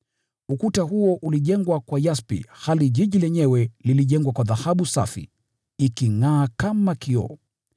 Ukuta huo ulijengwa kwa yaspi hali mji wenyewe ulijengwa kwa dhahabu safi, ikingʼaa kama kioo.